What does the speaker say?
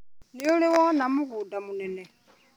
Nĩũrĩ wona mũgũnda mũnene.